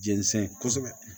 Jɛnsɛn kosɛbɛ